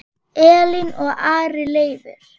Elín og Ari Leifur.